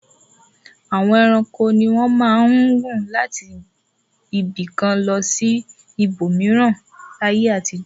Àwọn ẹranko ni wọ́n máa ń gùn láti ibì kan lọ sí ibòmíràn láyé àtijọ́.